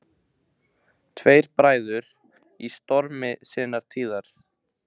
Tveir bræður í stormi sinnar tíðar.